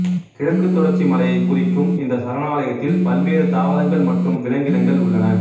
கிழக்குத் தொடர்ச்சி மலையைக் குறிக்கும் இந்த சரணாலயத்தில் பல்வேறு தாவரங்கள் மற்றும் விலங்கினங்கள் உள்ளன